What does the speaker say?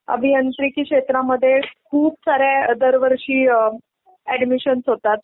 अभियांत्रिकी क्षेत्रामध्ये खुपसाऱ्या दरवर्षी अ ऐडमिशन्स होतात.